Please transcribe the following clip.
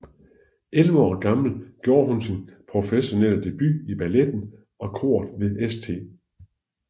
Elleve år gammel gjorde hun sin professionelle debut i balletten og koret ved St